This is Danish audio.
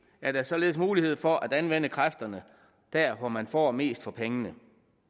er der således mulighed for at anvende kræfterne der hvor man får mest for pengene